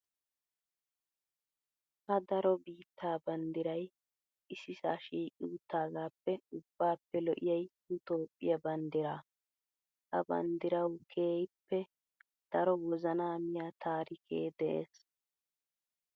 Ha daro biittaa banddirayi issisaa shiiqi uttaagaappe ubbaappe lo"iyayi nu Toophphiyaa banddiraa. Ha banddirawu keehippe daro wozanaa miyaa taarikee des.